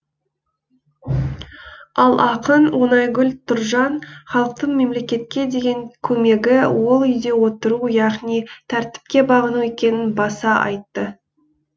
ал ақын оңайгүл тұржан халықтың мемлекетке деген көмегі ол үйде отыру яғни тәртіпке бағыну екенін баса айтты